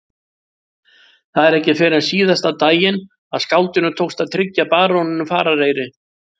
Það var ekki fyrr en síðasta daginn að skáldinu tókst að tryggja baróninum farareyri.